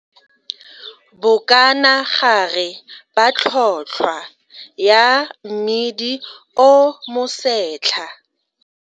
Average yellow maize price, bokanagare ba tlhotlhwa ya mmidi o mosetlha.